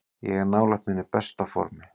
Ég er nálægt mínu besta formi.